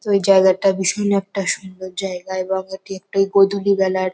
ওই জায়গাটা ভীষণ একটা সুন্দর জায়গা এবং এটি একটি গোধূলি বেলার ।